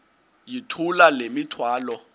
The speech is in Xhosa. yithula le mithwalo